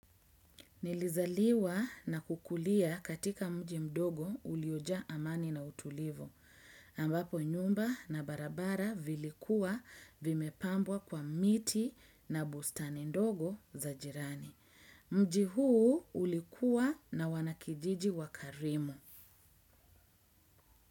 Nilizaliwa na kukulia katika mji mdogo uliojaa amani na utulivu, ambapo nyumba na barabara vilikuwa vimepambwa kwa miti na bustani ndogo za jirani. Mji huu ulikuwa na wanakijiji wakarimu.